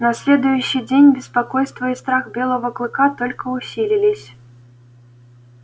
на следующий день беспокойство и страх белого клыка только усилились